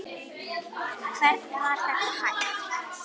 Hvernig var það hægt?